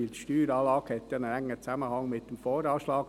Denn die Steueranlage hat ja einen engen Zusammenhang mit dem VA.